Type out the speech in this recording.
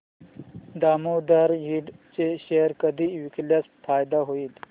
दामोदर इंड चे शेअर कधी विकल्यास फायदा होईल